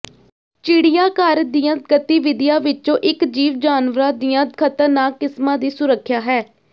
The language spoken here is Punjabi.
ਚਿੜੀਆਘਰ ਦੀਆਂ ਗਤੀਵਿਧੀਆਂ ਵਿਚੋਂ ਇਕ ਜੀਵ ਜਾਨਵਰਾਂ ਦੀਆਂ ਖਤਰਨਾਕ ਕਿਸਮਾਂ ਦੀ ਸੁਰੱਖਿਆ ਹੈ